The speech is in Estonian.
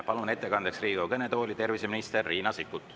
Palun ettekandeks Riigikogu kõnetooli terviseminister Riina Sikkuti.